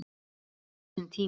Það tekur sinn tíma.